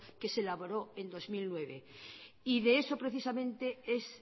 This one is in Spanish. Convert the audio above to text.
que se elaboró en dos mil nueve de eso precisamente es